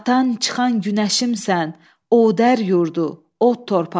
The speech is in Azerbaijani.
Batan, çıxan günəşimsən, Odər yurdu, od torpağı.